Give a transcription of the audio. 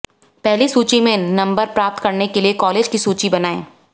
पहली सूची में नंबर प्राप्त करने के लिए कॉलेज की सूची बनाएं